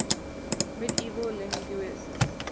medieval linguists